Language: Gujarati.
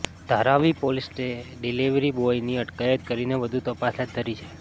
ધારાવી પોલીસે ડિલિવરીબોયની અટકાયત કરીને વધુ તપાસ હાથ ધરી છે